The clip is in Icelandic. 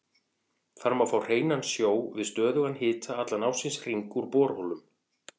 Þar má fá hreinan sjó við stöðugan hita allan ársins hring úr borholum.